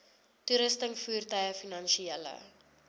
toerusting voertuie finansiële